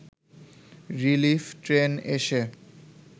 relief train এসে